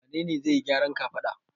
Wane ne zai yi gyaran kafada?